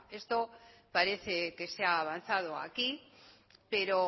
esto parece que se ha avanzado aquí pero